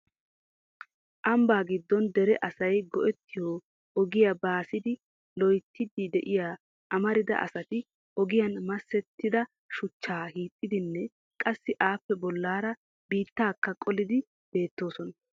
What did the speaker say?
Ambba giddon dere asay go"ettiyo ogiya baasiiddi loyttidi de'iya amarida asati ogiyan masettida shuchchaa hiixidinne qassi appe bollaara biittaakka qolidi beettoosona.